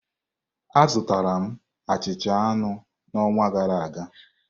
Azụtara m achịcha anụ n'ọnwa gara aga.